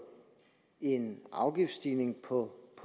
en afgiftsstigning på